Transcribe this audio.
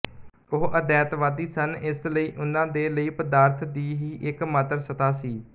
ਉਹ ਅਦੈਤਵਾਦੀ ਸਨ ਇਸ ਲਈ ਉਨ੍ਹਾਂ ਦੇ ਲਈ ਪਦਾਰਥ ਦੀ ਹੀ ਇੱਕਮਾਤਰ ਸੱਤਾ ਸੀ